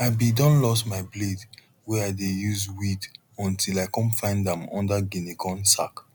i been don loss my blade wey i dey use weed until i come find am under guinea corn sack